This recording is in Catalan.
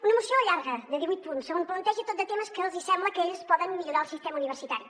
una moció llarga de divuit punts on planteja tot de temes que els hi sembla que ells poden millorar del sistema universitari